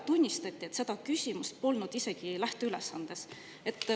Tunnistati ju seda, et seda küsimust polnud isegi lähteülesandes.